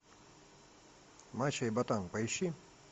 мачо и ботан поищи